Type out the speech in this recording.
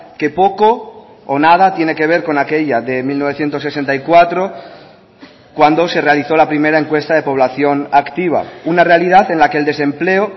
que poco o nada tiene que ver con aquella de mil novecientos sesenta y cuatro cuando se realizó la primera encuesta de población activa una realidad en la que el desempleo